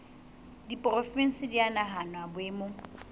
diporofensi di a nahanwa boemong